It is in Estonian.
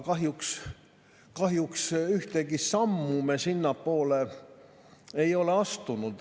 Kahjuks ühtegi sammu me sinnapoole ei ole astunud.